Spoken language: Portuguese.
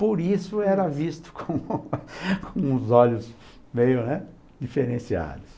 Por isso era visto com com os olhos meio, né, diferenciados.